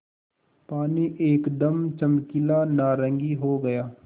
पानी एकदम चमकीला नारंगी हो गया